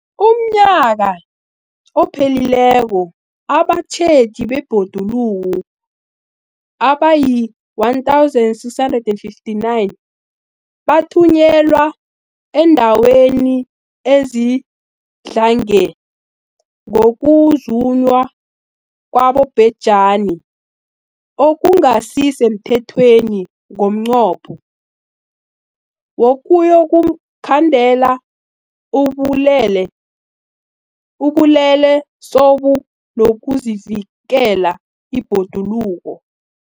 UmNnyaka ophelileko abatjheji bebhoduluko abayi-1 659 bathunyelwa eendaweni ezidlange ngokuzunywa kwabobhejani okungasi semthethweni ngomnqopho wokuyokukhandela ubulelesobu nokuvikela ibhoduluko.